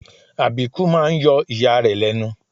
Àbíkú máa ń yọ ìyá rẹ̀ lẹ́nu